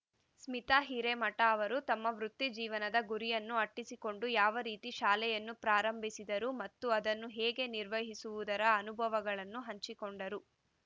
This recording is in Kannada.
ಸ್ಮಿತಾ ಹಿರೇಮಠ ಅವರು ತಮ್ಮ ವೃತ್ತಿ ಜೀವನದ ಗುರಿಯನ್ನು ಅಟ್ಟಿಸಿಕೊಂಡು ಯಾವ ರೀತಿ ಶಾಲೆಯನ್ನು ಪ್ರಾರಂಭಿಸಿದರು ಮತ್ತು ಅದನ್ನು ಹೇಗೆ ನಿರ್ವಹಿಸುವದರ ಅನುಭವಗಳನ್ನು ಹಂಚಿಕೊಂಡರು